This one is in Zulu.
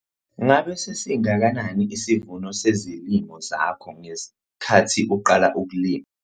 Ngabe sasingakanani isivuno sezilimo zakho ngesikhathi uqala ukulima?